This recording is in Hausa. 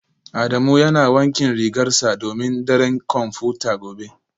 Adamu yana wankin rigarsa domin daren kwamfuta gobe